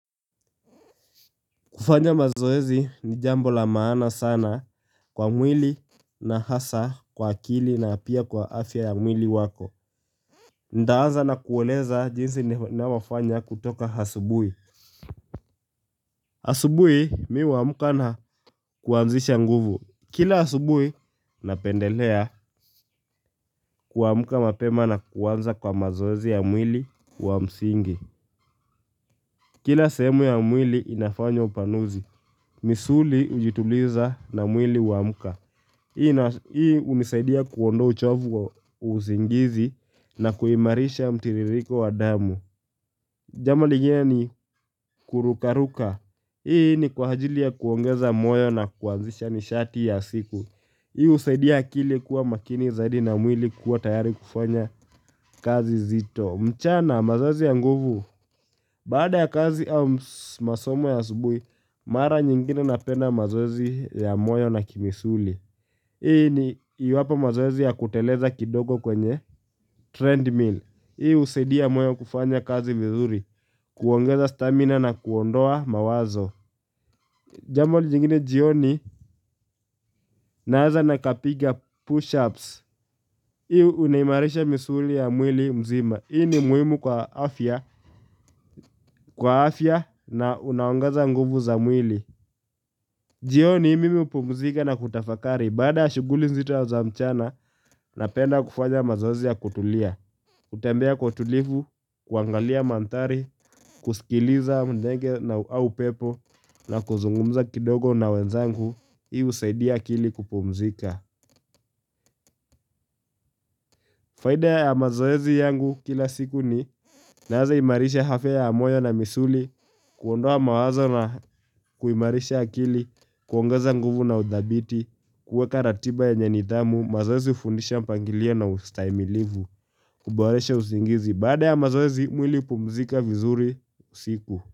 Kufanya mazoezi ni jambo la maana sana kwa mwili na hasa kwa akili na pia kwa afya ya mwili wako. Nitaanza na kueleza jinsi ninavyoafanya kutoka asubuhi. Asubuhi mimi uamka na kuanzisha nguvu. Kila asubui napendelea kuamuka mapema na kuanza kwa mazoezi ya mwili wa msingi. Kila semu ya mwili inafanya upanuzi. Misuli hujituliza na mwili uamka. Hii unisaidia kuondoa uchovu wa usingizi na kuimarisha mtiririko wa damu Jambo lenyewe ni kurukaruka Hii ni kwa ajili ya kuongeza moyo na kuanzisha nishati ya siku Hii husaidia akili kuwa makini zaidi na mwili kuwa tayari kufanya kazi nzito. Mchana mazoezi ya nguvu. Baada ya kazi au masomo ya asubuhi Mara nyingine napenda mazoezi ya moyo na kimisuli. Hii ni iwapo mazoezi ya kuteleza kidogo kwenye treadmill. Hii husaidia moyo kufanya kazi vizuri, kuongeza stamina na kuondoa mawazo. Jambo jingine jioni naanza na kupiga push-ups. Hii unaimarisha misuli ya mwili mzima. Hii ni muhimu kwa afya na unaongeza nguvu za mwili. Jioni mimi hupumzika na kutafakari. Baada ya shuguli nzito za mchana napenda kufanya mazoezi ya kutulia. Kutembea kwa utulivu, kuangalia manthari, kusikiliza ndege au upepo na kuzungumza kidogo na wenzangu, hii husaidia akili kupumzika. Faida ya mazoezi yangu kila siku ni naweza imarisha afya ya moyo na misuli, kuondoa mawazo na kuimarisha akili, kuongeza nguvu na udhabiti, kuweka ratiba yenye nidhamu, mazoezi hufundisha mpangilio na ustahimilivu, kuboresha usingizi. Baada ya mazoezi mwili hupumuzika vizuri usiku.